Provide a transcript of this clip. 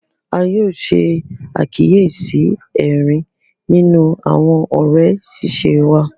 A yóò ṣe àkíyèsí ẹrín nínú àwọn òré ṣiṣe wà.